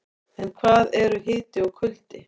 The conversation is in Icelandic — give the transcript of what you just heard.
En hvað eru hiti og kuldi?